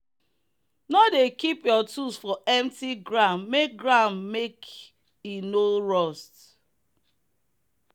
no dey keep your tools for empty ground make ground make e no rust